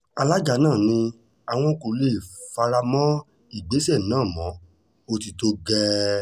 alága náà ni àwọn kò lè fara mọ́ ìgbésẹ̀ náà mọ́ ó ti tó gẹ́ẹ́